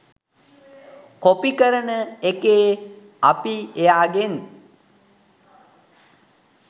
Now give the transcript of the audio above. copy කරන එකේ අපි එයාගෙන්